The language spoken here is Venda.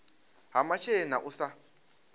ha masheleni na u sa